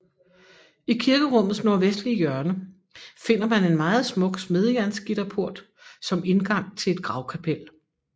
I kirkerummets nordvestlige hjørne finder man en meget smuk smedejernsgitterport som indgang til et gravkapel